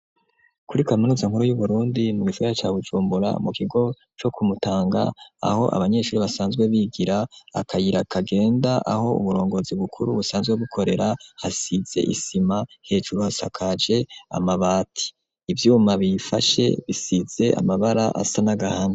Kuri kaminuza nkuru y'uburundi mu gisagara ca Bujumbura mu kigo co ku Mutanga aho abanyeshuri basanzwe bigira akayira kagenda aho uburongozi bukuru busanzwe bukorera hasize isima hejru hasakaje amabati ivyuma biyifashe bisize amabara asa n'agahama.